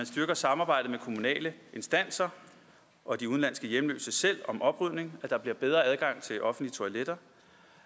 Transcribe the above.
styrket samarbejdet mellem kommunale instanser og de udenlandske hjemløse selv om oprydning bedre adgang til offentlige toiletter